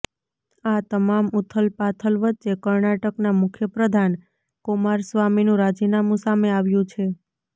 આ તમામ ઉથલપાથલ વચ્ચે કર્ણાટકના મુખ્યપ્રધાન કુમારસ્વામીનું રાજીનામું સામે આવ્યું છે